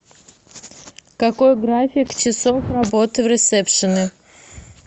какой график часов работы в ресепшене